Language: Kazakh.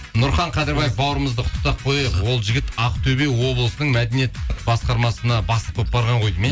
нұрхан қадырбаев бауырымызды құттықтап қояйық ол жігіт ақтөбе облысының мәдениет басқармасына бастық болып барған ғой